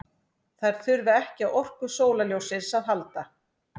Þær þurfa ekki á orku sólarljóssins að halda.